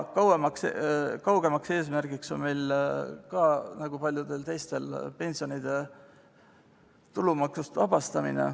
Kaugem eesmärk on meil nagu paljudel teistelgi pensioni tulumaksust vabastamine.